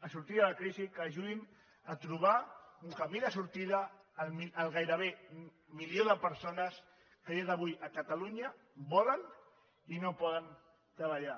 a sortir de la crisi que ajudin a trobar un camí de sortida al gairebé milió de persones que a dia d’avui a catalunya volen i no poden treballar